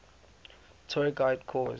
tour guide course